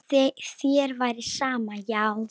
Ef þér væri sama, já.